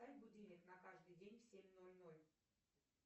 поставь будильник на каждый день в семь ноль ноль